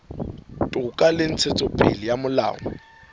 toka le ntshetsopele ya molao